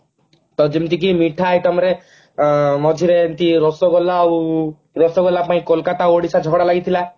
ତ ଯେମିତିକି ମିଠା item ରେ ଆଁ ମଝିରେ ଏମତି ରସଗୋଲା ଆଉ ରସଗୋଲା ପାଇଁ କୋଲକାତା ଆଉ ଓଡିଶା ଝଗଡା ଲାଗିଥିଲା